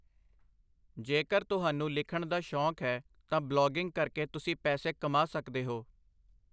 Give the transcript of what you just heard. ਜੇਕਰ ਤੁਹਾਨੂੰ ਲਿਖਣ ਦਾ ਸ਼ੌਕ ਹੈ, ਤਾਂ ਬਲੌਗਿੰਗ ਕਰਕੇ ਤੁਸੀਂ ਪੈਸੇ ਕਮਾ ਸਕਦੇ ਹੋ।